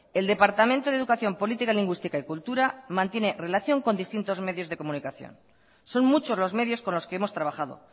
el departamento de educación política lingüística y cultura mantiene relación con distintos medios de comunicación son muchos los medios con los que hemos trabajado